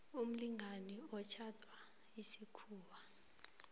umlingani otjhadwe isikhuwa